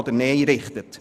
Ja oder Nein richtet.